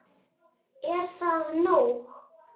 Er það nóg?